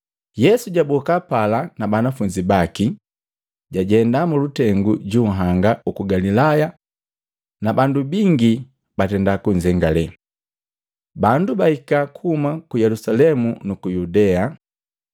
Yesu jaboka pala na banafunzi baki, jajenda mulutengu junhanga uku Galilaya na bandu bingi batenda kunzengalee. Bandu bahika kuhuma ku Yelusalemu nuku Yudea,